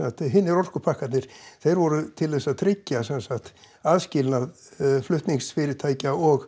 hinir orkupakkarnir þeir voru til þess að tryggja sem sagt aðskilnað flutningsfyrirtækja og